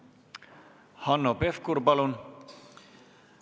Hanno Pevkur, palun!